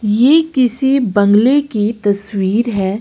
ये किसी बंगले की तस्वीर है।